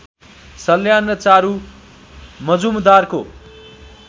सल्यान र चारू मजुमदारको